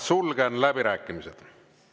Sulgen läbirääkimised.